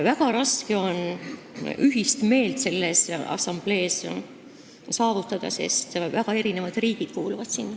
Väga raske on ühist meelt selles assamblees saavutada, sest väga erinevad riigid kuuluvad sinna.